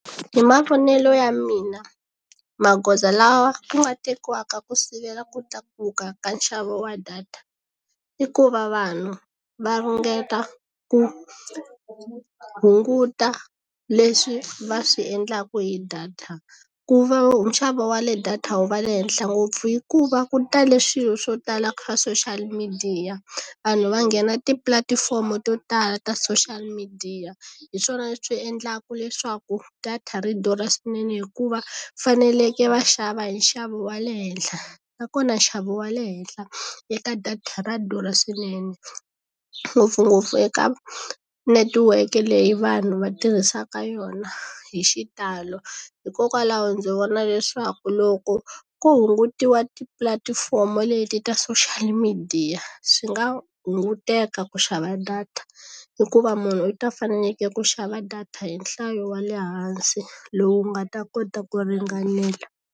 Hi mavonelo ya mina magoza lawa ya nga tekiwaka ku sivela ku tlakuka ka nxavo wa data i ku va vanhu va ringeta ku hunguta leswi va swi endlaku hi data ku va nxavo wa le data wu va le henhla ngopfu hikuva ku tale swilo swo tala swa social midiya vanhu va nghena tipulatifomo to tala ta social midiya hi swona leswi endlaka leswaku data ri durha swinene hikuva faneleke va xava hi nxavo wa le henhla nakona nxavo wa le henhla eka data ra durha swinene ngopfungopfu eka netiweke leyi vanhu va tirhisaka yona hi xitalo hikokwalaho ndzi vona leswaku loko ko hungutiwa tipulatifomo leti ta social midiya swi nga hunguteka ku xava data hikuva munhu u ta fanekele ku xava data hi nhlayo wa le hansi lowu nga ta kota ku ringanela.